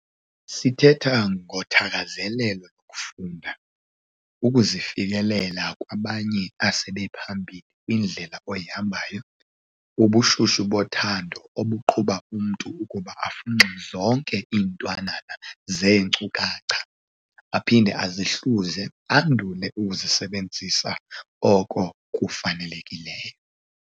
Sithetha ngothakazelelo lokufunda, ukuzifikelela kwabanye asebephambili kwindlela oyihambayo, ubushushu bothando obuqhuba umntu ukuba afunxe zonke iintwananana zeenkcukacha, aphinde azihluze andule ukusebenzisa oko kufanelekileyo.